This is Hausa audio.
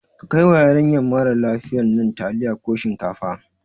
Ka kai wa yarinya marar lafiyan nan taliya ko shinkafa